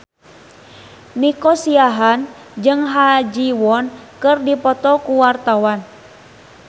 Nico Siahaan jeung Ha Ji Won keur dipoto ku wartawan